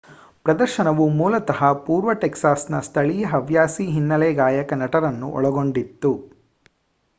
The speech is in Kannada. ಪ್ರದರ್ಶನವು ಮೂಲತಃ ಪೂರ್ವ ಟೆಕ್ಸಾಸ್‌ನ ಸ್ಥಳೀಯ ಹವ್ಯಾಸಿ ಹಿನ್ನೆಲೆ ಗಾಯಕ ನಟರನ್ನು ಒಳಗೊಂಡಿತ್ತು